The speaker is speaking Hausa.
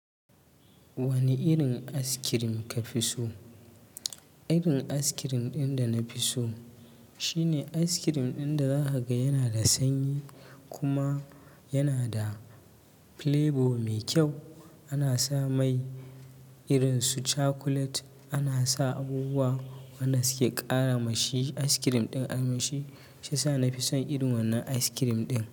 Wane irin ice cream ka fi so? Irin ice cream ɗin da na fi so shine ice cream ɗin da za ka ga yana da sanyi kuma yana da flavour mai kyau. Ana sa mai irin su chocolate, ana sa abubuwa waɗan suke ƙara ma shi ice cream ɗin armishi. Shi sa na fi son irin wannan ice cream ɗin.